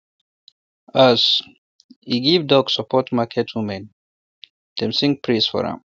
as e give duck support market women dem sing praise for am